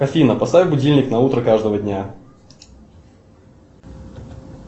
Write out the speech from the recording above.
афина поставь будильник на утро каждого дня